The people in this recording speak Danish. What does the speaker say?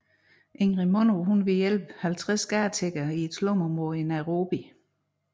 Ingrid Munro ville hjælpe 50 gadetiggere i et slumområde i Nairobi